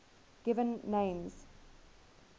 given names